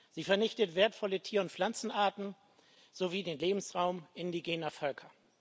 sie vernichtet wertvolle Tier und Pflanzenarten sowie den Lebensraum indigener Völker.